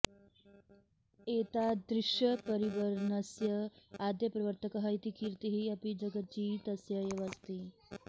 एतादृशपरिवर्नस्य आद्यप्रवर्तकः इति कीर्तिः अपि जगजीतस्य एव अस्ति